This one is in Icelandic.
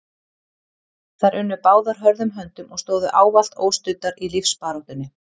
Þær unnu báðar hörðum höndum og stóðu ávallt óstuddar í lífsbaráttunni.